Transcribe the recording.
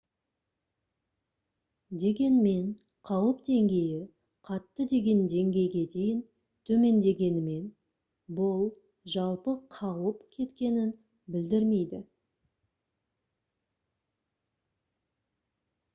дегенмен қауіп деңгейі қатты деген деңгейге дейін төмендегенімен бұл жалпы қауіп кеткенін білдірмейді»